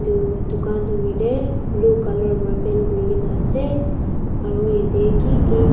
etu dukan toh hoilae blue colour para paint kurikina asae aru yadae kiki--